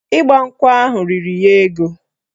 Ịgbankwụ ahụ riri ya ego